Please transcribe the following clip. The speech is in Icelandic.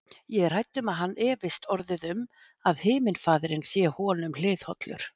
Ég er hrædd um að hann efist orðið um, að himnafaðirinn sé honum hliðhollur.